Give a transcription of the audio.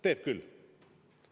Teeb küll.